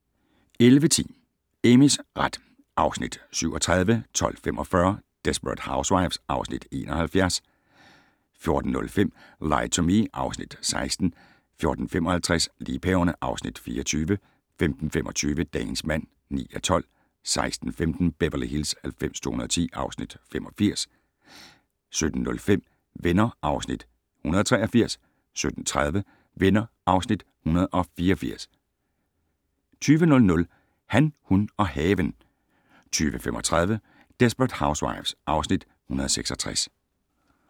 11:10: Amys ret (Afs. 37) 12:45: Desperate Housewives (Afs. 71) 14:05: Lie to Me (Afs. 16) 14:55: Liebhaverne (Afs. 24) 15:25: Dagens mand (9:12) 16:15: Beverly Hills 90210 (Afs. 85) 17:05: Venner (Afs. 183) 17:30: Venner (Afs. 184) 20:00: Han, hun og haven 20:35: Desperate Housewives (Afs. 166)